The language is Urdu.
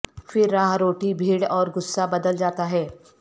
پھر راہ روٹی بھیڑ اور غصہ بدل جاتا ہے